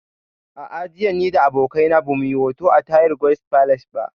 A'a, jiya ni da abokina ba mu yi hoto a Tahir Guest Palace ba